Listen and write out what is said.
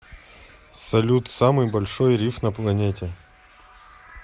салют самый большой риф на планете